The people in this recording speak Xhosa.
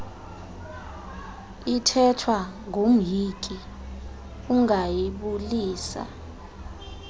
ithethwa ngumhinki ungayibulisa